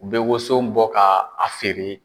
U bɛ woson bɔ ka a feere.